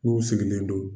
N'u sigilen don